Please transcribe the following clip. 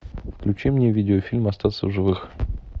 включи мне видеофильм остаться в живых